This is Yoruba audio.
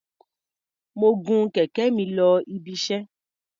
Mo gun kẹ̀kẹ́ mi lọ ibiṣẹ́.